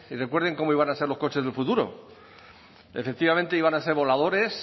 recuerden cómo iban a ser los coches de futuro efectivamente iban a ser voladores